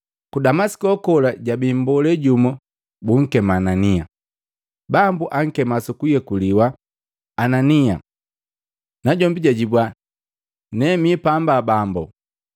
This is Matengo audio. Ku Damasiko kola jabi mbolee jumu bunkema Anania. Bambu ankema sukuyekuliwa, “Anania!” Najombi jajibwa, “Ne mipamba Bambo.”